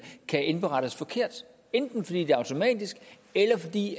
kan indberettes forkert enten fordi det er automatisk eller fordi